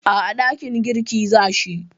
A'a, dakin girki za shi.